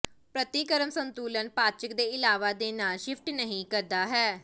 ਪ੍ਰਤੀਕਰਮ ਸੰਤੁਲਨ ਪਾਚਕ ਦੇ ਇਲਾਵਾ ਦੇ ਨਾਲ ਸ਼ਿਫਟ ਨਹੀ ਕਰਦਾ ਹੈ